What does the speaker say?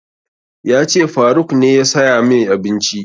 Ya ce faruk ne ya saya mai abinci